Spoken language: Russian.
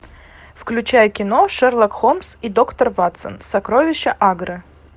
включай кино шерлок холмс и доктор ватсон сокровища агры